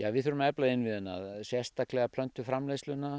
við þurfum að efla innviðina sérstaklega